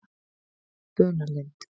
Funalind